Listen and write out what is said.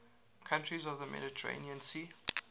countries of the mediterranean sea